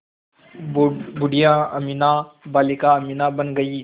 बूढ़िया अमीना बालिका अमीना बन गईं